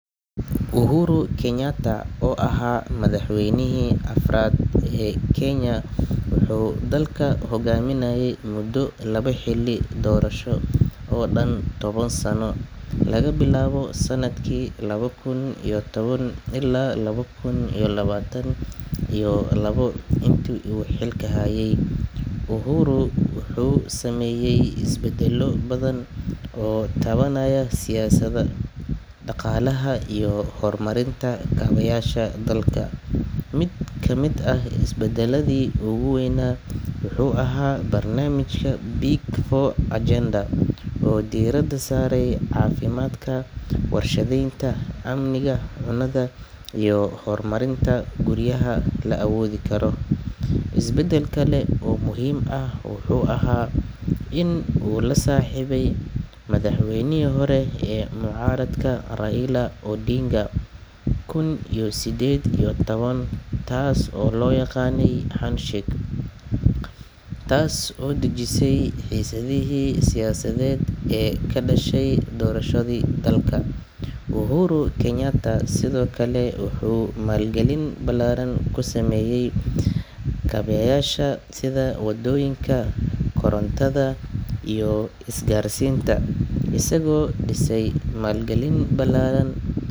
Uhuru Kenyatta oo ahaa madaxweynihii afraad ee Kenya wuxuu dalka hoggaaminayay muddo laba xilli doorasho oo dhan toban sano laga bilaabo sanadkii laba kun iyo toban ilaa laba kun iyo labaatan iyo labo. Intii uu xilka hayay, Uhuru wuxuu sameeyay isbedello badan oo taabanaya siyaasadda, dhaqaalaha iyo horumarinta kaabayaasha dalka. Mid ka mid ah isbedelladii ugu weynaa wuxuu ahaa barnaamijka Big Four Agenda oo diiradda saarayay caafimaadka, warshadeynta, amniga cunnada, iyo horumarinta guryaha la awoodi karo. Isbedel kale oo muhiim ah wuxuu ahaa in uu la saaxiibay madaxweynihii hore ee mucaaradka Raila Odinga sanadkii laba kun iyo siddeed iyo toban, taas oo loo yaqaanay Handshake, taas oo dejisay xiisadihii siyaasadeed ee ka dhashay doorashadii dalka. Uhuru Kenyatta sidoo kale wuxuu maalgelin ballaaran.